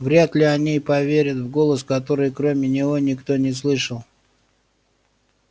вряд ли они поверят в голос который кроме него никто не слышал